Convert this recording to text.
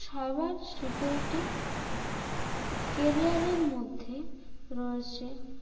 cyber security career এর মধ্যে রয়েছে